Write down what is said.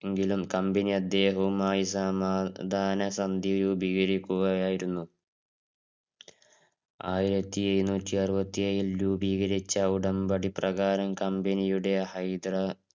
എങ്കിലും company അദ്ദേഹവുമായി സമാധാന സന്ധി രൂപീകരിക്കുകയായിരുന്നു. ആയിരത്തി എഴുന്നൂറ്റി അറുപ്പാത്തി ഏഴില് രൂപീകരിച്ച ഉടമ്പടി പ്രകാരം company യുടെ ഹൈദര~